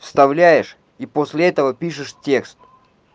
вставляешь и после этого пишешь текст